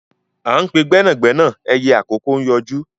À ń pe gbẹ́nàgbẹ́nà ẹyẹ àkókó ń yọjú